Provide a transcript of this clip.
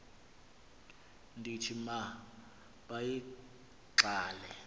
ndithi ma bayigqale